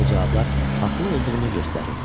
Aldığı cavablar haqlı olduğunu göstərirdi.